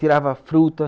Tirava a fruta.